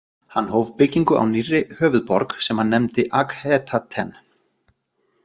Hann hóf byggingu á nýrri höfuðborg sem hann nefndi Akhetaten.